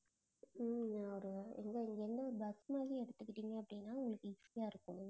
உம் ஒரு இங்க இருந்து ஒரு bus மாதிரி எடுத்துக்கிட்டீங்க அப்படின்னா, உங்களுக்கு easy ஆ இருக்கும்